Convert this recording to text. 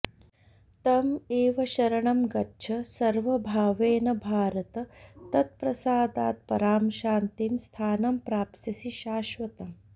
तम् एव शरणं गच्छ सर्वभावेन भारत तत् प्रसादात् परां शान्तिं स्थानं प्राप्स्यसि शाश्वतम्